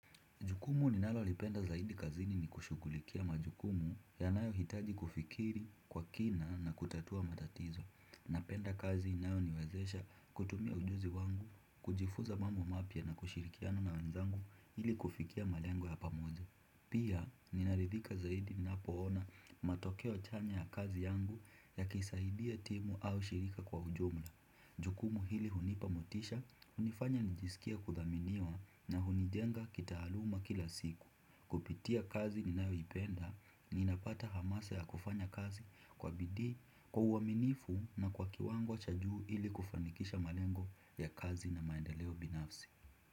Majukumu ninayoyapenda zaidi kazini ni kushughulikia majukumu yanayohitaji kufikiri kwa kina na kutatua matatizo. Napenda kazi inayoniwezesha kutumia ujuzi wangu, kujifuza mambo mapya na kushirikiana na wenzangu ili kufikia malengo ya pamoja. Pia, ninaridhika zaidi ninapoona matokeo chanya ya kazi yangu yakisaidia timu au shirika kwa ujumla. Jukumu hili hunipa motisha, hunifanya nijisikia kuthaminiwa na hunijenga kitaaluma kila siku. Kupitia kazi ninayoipenda, ninapata hamasa ya kufanya kazi kwa bidii kwa uaminifu na kwa kiwango cha juu ili kufanikisha malengo ya kazi na maendeleo binafsi.